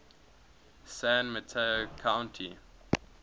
san mateo county